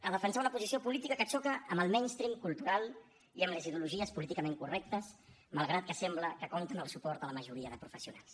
a defensar una posició política que xoca amb el mainstream cultural i amb les ideologies políticament correctes malgrat que sembla que compten amb el suport de la majoria de professionals